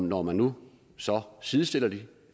når man nu sidestiller